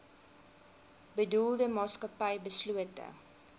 bedoelde maatskappy beslote